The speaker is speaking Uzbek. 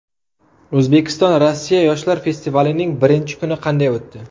O‘zbekiston Rossiya yoshlar festivalining birinchi kuni qanday o‘tdi?